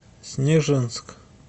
снежинск